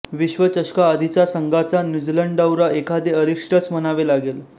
विश्वचषकाआधीचा संघाचा न्यूझीलंड दौरा एखादे अरिष्टच म्हणावे लागेल